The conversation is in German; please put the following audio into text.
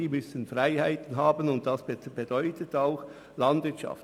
Sie müssen Freiheiten haben, und das bedeutet auch Landwirtschaft.